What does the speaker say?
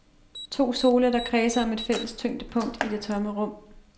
To sole, der kredser om et fælles tyngdepunkt i det tomme rum.